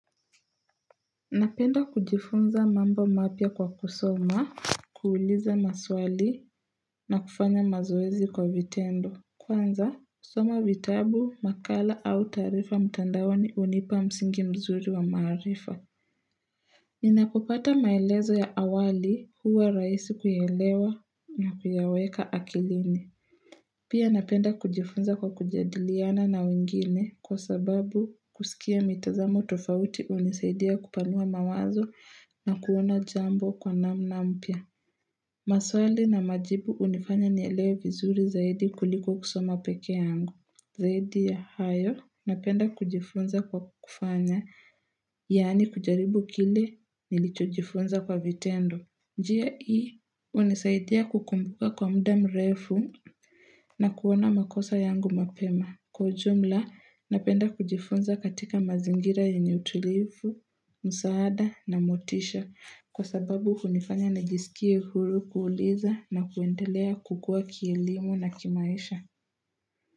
Napenda kujifunza mambo mapya kwa kusoma, kuuliza maswali na kufanya mazoezi kwa vitendo. Kwanza, kusoma vitabu, makala au taarifa mtandaoni hunipa msingi mzuri wa maarifa. Ninapopata maelezo ya awali huwa rahisi kuyaelewa na kuyaweka akilini. Pia napenda kujifunza kwa kujadiliana na wengine kwa sababu kusikia mitazamo tofauti hunisaidia kupanua mawazo na kuona jambo kwa namna mpya. Maswali na majibu hunifanya nielewe vizuri zaidi kuliko kusoma pekee yangu. Zaidi ya hayo napenda kujifunza kwa kufanya yaani kujaribu kile nilichojifunza kwa vitendo. Njia hii hunisaidia kukumbuka kwa muda mrefu na kuona makosa yangu mapema. Kwa ujumla, napenda kujifunza katika mazingira yenye utulifu, msaada na motisha. Kwa sababu hunifanya nijisikie huru kuuliza na kuendelea kukua kielimu na kimaisha.